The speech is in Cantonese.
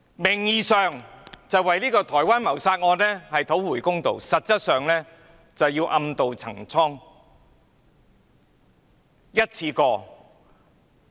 名義上是為台灣的謀殺案討回公道，實際上是暗渡陳倉。